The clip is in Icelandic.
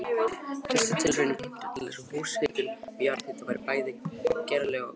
Fyrstu tilraunir bentu til þess að húshitun með jarðhita væri bæði gerleg og hagkvæm.